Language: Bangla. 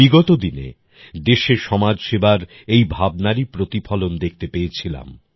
বিগত দিনে দেশে সমাজ সেবার এই ভাবনারই প্রতিফলন দেখতে পেয়েছিলাম